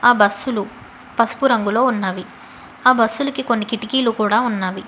ఆ బస్సులు పసుపు రంగులో ఉన్నవి ఆ బస్సులుకి కొన్ని కిటికీలు కూడా ఉన్నవి.